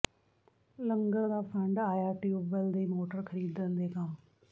ਲੰਗਰ ਦਾ ਫੰਡ ਆਇਆ ਟਿਊਬਵੈੱਲ ਦੀ ਮੋਟਰ ਖਰੀਦਣ ਦੇ ਕੰਮ